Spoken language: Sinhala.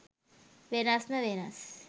වෙනස්ම වෙනස්.